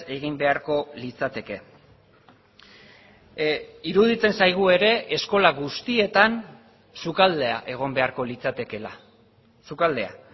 egin beharko litzateke iruditzen zaigu ere eskola guztietan sukaldea egon beharko litzatekeela sukaldea